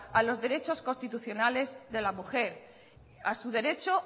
a los derechos constitucionales de la mujer a su derecha